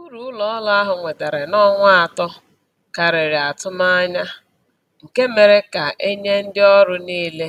Uru ụlọ ọrụ ahụ nwetara n'ọnwa atọ karịrị atụmanya, nke mere ka a nye ndị ọrụ niile